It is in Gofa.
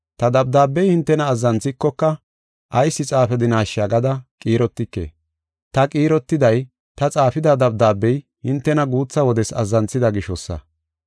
Ta dabdaabey hintena azzanthikoka ayis xaafadinasha gada qiirotike. Ta qiirotiday ta xaafida dabdaabey hintena guutha wodes azzanthida gishosa.